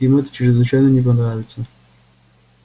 им это чрезвычайно не понравится